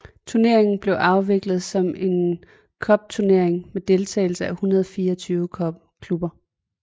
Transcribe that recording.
Turneringen blev afviklet som en cupturnering med deltagelse af 124 klubber